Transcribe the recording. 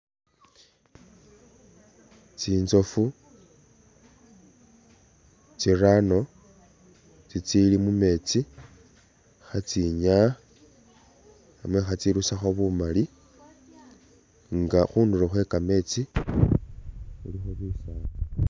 Tsintsofu tsirano itsili mumeetsi khetsinyaya namwe khetsirusakho bumali nga khudlo khwe kameetsi khulikho bifani.